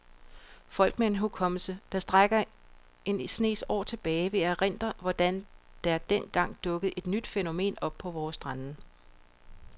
Folk med en hukommelse, der rækker en snes år tilbage, vil erindre, hvorledes der den gang dukkede et nyt fænomen op på vore strande.